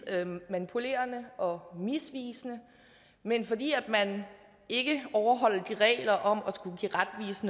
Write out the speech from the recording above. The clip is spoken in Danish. manipulerende og misvisende men fordi man ikke overholder reglerne om